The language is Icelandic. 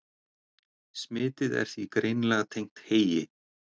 Smitið er því greinilega tengt heyi.